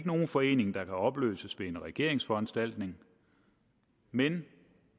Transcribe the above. nogen forening der kan opløses ved en regerings foranstaltning men